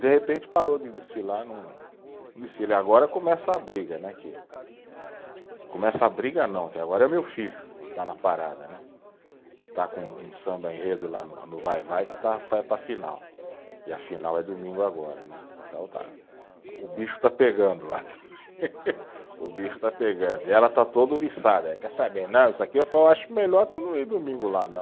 De repente parou de desfilar não, não desfila e agora começa a briga né, que, começa a briga não, que agora é o meu filho que está na parada né, que está com um samba enredo lá no, no Vai-Vai que está, vai para a final e a final é domingo agora né, então está, o bicho está pegando lá, o bicho está pegando e ela está toda ouriçada, e quer saber, não, isso aqui foi, eu acho melhor tu não ir domingo lá não